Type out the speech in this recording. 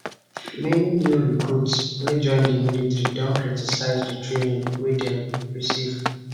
many new recruits wey join di military don criticise di training wey dem don receive